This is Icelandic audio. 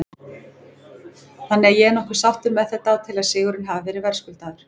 Þannig að ég er nokkuð sáttur með þetta og tel að sigurinn hafi verið verðskuldaður.